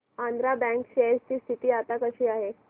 Andhra bank share ची स्थिती आता कशी आहे